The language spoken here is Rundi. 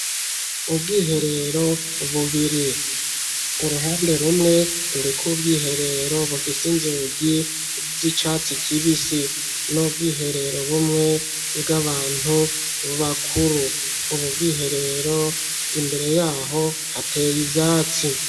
Ubwiherero bubiri, uruhande rumwe, ruriko ubwiherero bufise inzugi z'icatsi kibisi, n'ubwiherero bumwe, bw'abantu bakuru, ubwo bwiherero imbere y'aho, hateye ivyatsi.